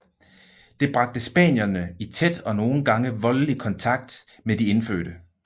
Det bragte spanierne i tæt og nogen gange voldelig kontakt med de indfødte